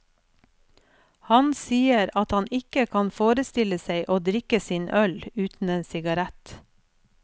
Han sier at han ikke kan forestille seg å drikke sin øl uten en sigarett.